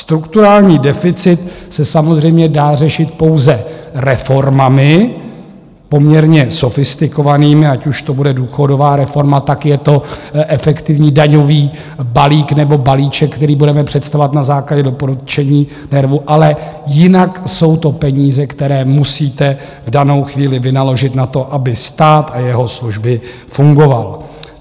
Strukturální deficit se samozřejmě dá řešit pouze reformami, poměrně sofistikovanými, ať už to bude důchodová reforma, tak je to efektivní daňový balík nebo balíček, který budeme představovat na základě doporučení NERVu, ale jinak jsou to peníze, které musíte v danou chvíli vynaložit na to, aby stát a jeho služby fungoval.